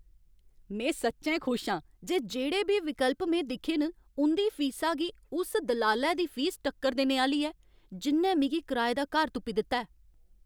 में सच्चैं खुश आं जे जेह्ड़े बी विकल्प में दिक्खे न उं'दी फीसा गी उस दलालै दी फीस टक्कर देने आह्‌ली ऐ जि'न्नै मिगी कराए दा घर तुप्पी दित्ता ऐ।